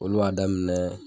Olu y'a daminɛ